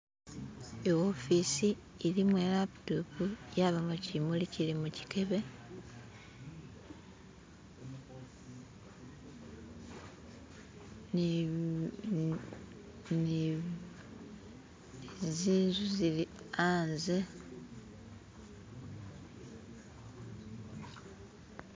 Iwofici ilimo ilaputopu yabamo chimuli chili muchikebe ni ni ni ni zinzuzilihanze